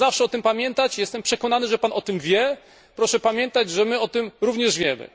Proszę zawsze o tym pamiętać! Jestem przekonany, że Pan o tym wie, proszę pamiętać, że my o tym również wiemy.